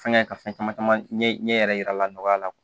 Fɛngɛ ka fɛn caman caman ɲɛ yɛrɛ yira a la nɔgɔya la